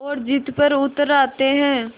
और ज़िद पर उतर आते हैं